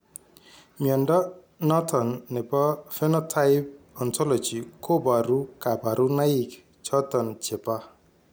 Mnyondo noton nebo Phenotype Ontology koboru kabarunaik choton chebo